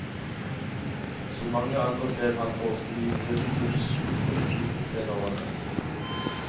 Som mange andre skrev han for skrivebordsskuffen i tenårene.